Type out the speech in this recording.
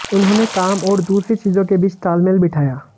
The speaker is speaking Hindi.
उन्होंने काम और दूसरी चीजों के बीच तालमेल बिठाया